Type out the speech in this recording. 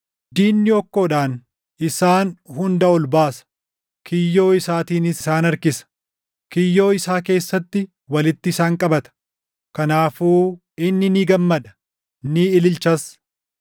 Diinni hokkoodhaan isaan hunda ol baasa; kiyyoo isaatiinis isaan harkisa; kiyyoo isaa keessatti walitti isaan qabata; kanaafuu inni ni gammada; ni ililchas.